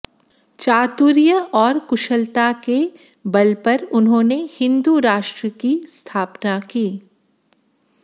चातुर्य और कुशलता के बल पर उन्होंने हिन्दू राष्ट्र की स्थापना की